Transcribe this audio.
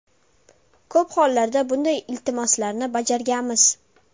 Ko‘p hollarda bunday iltimoslarni bajarganmiz.